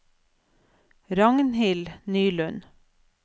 Ragnhild Nylund